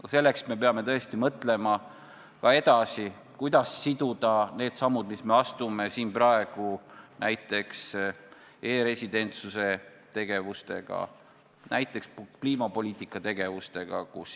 Ja selleks peame me tõesti mõtlema ka edasi, kuidas siduda need sammud, mis me siin praegu astume, näiteks e-residentsuse ja kliimapoliitikaga.